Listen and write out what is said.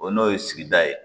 O n'o ye sigida ye